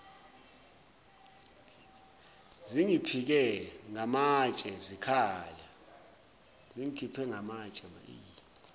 zingikhiphe ngamatshe zikhala